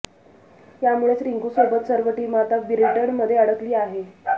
यामुळेच रिंकू सोबत सर्व टीम आता ब्रिटनमध्ये अडकली आहे